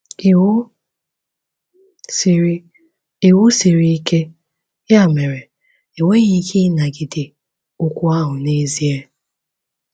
Iwu siri Iwu siri ike, ya mere, enweghị ike ịnagide okwu ahụ n’ezie.